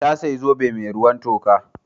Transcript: Ta sayi zobe mai ruwan toka.